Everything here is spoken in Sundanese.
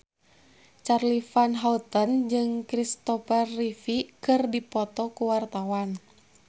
Charly Van Houten jeung Christopher Reeve keur dipoto ku wartawan